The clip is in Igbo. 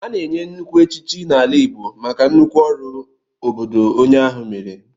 A na-enye nnukwu echichi n'ala Igbo maka nnukwu ọrụ obodo onye ahụ meere.